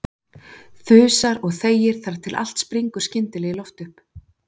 Þusar og þegir þar til allt springur skyndilega í loft upp.